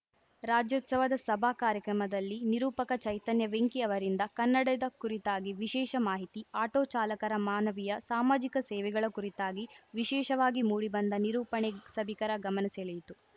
ರಾಜ್ಯೋತ್ಸವದ ಸಭಾ ಕಾರ್ಯಕ್ರಮದಲ್ಲಿ ನಿರೂಪಕ ಚೈತನ್ಯ ವೆಂಕಿ ಅವರಿಂದ ಕನ್ನಡದ ಕುರಿತಾಗಿ ವಿಶೇಷ ಮಾಹಿತಿ ಆಟೋ ಚಾಲಕರ ಮಾನವೀಯ ಸಾಮಾಜಿಕ ಸೇವೆಗಳ ಕುರಿತಾಗಿ ವಿಶೇಷವಾಗಿ ಮೂಡಿಬಂದ ನಿರೂಪಣೆ ಸಭಿಕರ ಗಮನ ಸೆಳೆಯಿತು